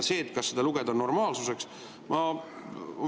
Kas seda lugeda normaalsuseks?